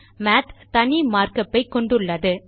மாத் தனி markup ஐ கொண்டுள்ளது